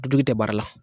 Tujugu tɛ baara la